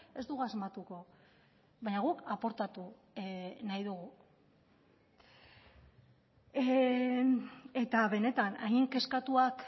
ez dugu asmatuko baina guk aportatu nahi dugu eta benetan hain kezkatuak